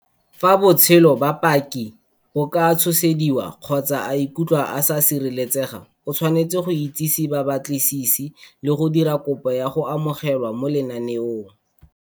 Fa botshelo ba paki bo ka tshosediwa kgotsa a ikutlwa a sa sireletsega, o tshwanetse go itsise babatlisisi le go dira kopo ya go amogelwa mo lenaneong.